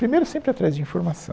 Primeiro, sempre ir atrás de informação.